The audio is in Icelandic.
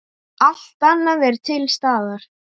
Allt annað er til staðar.